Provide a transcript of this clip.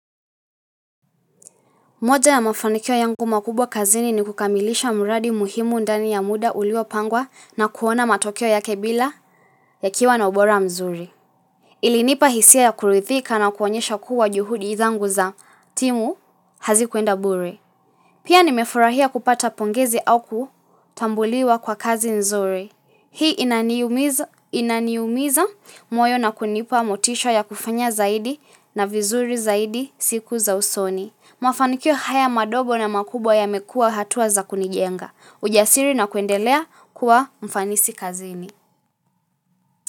Moja ya mafanikio yangu makubwa kazini ni kukamilisha mradi muhimu ndani ya muda ulio pangwa na kuona matokeo yake bila yakiwa na ubora mzuri. Ilinipa hisia ya kurithika na kuonyesha kuwa juhudi zangu za timu hazikuenda bure. Pia nimefurahia kupata pongezi au kutambuliwa kwa kazi nzuri. Hii inaniumiza moyo na kunipa motisha ya kufanya zaidi na vizuri zaidi siku za usoni. Mafaniko haya madogo na makubwa yamekua hatua za kunijenga. Ujasiri na kuendelea kuwa mfanisi kazini.